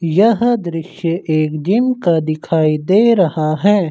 यह दृश्य एक जिम का दिखाई दे रहा है।